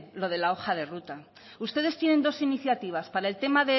lo de la hoja de ruta ustedes tienen dos iniciativas para el tema